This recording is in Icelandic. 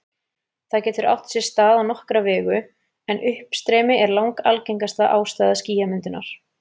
Það getur átt sér stað á nokkra vegu, en uppstreymi er langalgengasta ástæða skýjamyndunar.